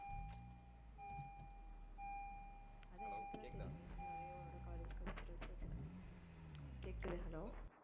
அதான் எனக்குதான் தெரியுமே full ஆவே உன்னோட college culturals விசயத்துல ஹம் கேக்குது hello